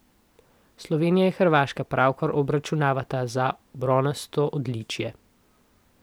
Slovenija in Hrvaška pravkar obračunavata za bronasto odličje.